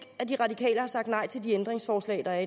at de radikale har sagt nej til de ændringsforslag der er